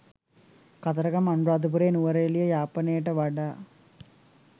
කතරගම අනුරාධපුරේ නුවරඑලිය යාපනේට වඩා